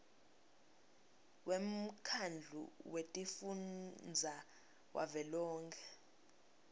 wemkhandlu wetifundza wavelonkhe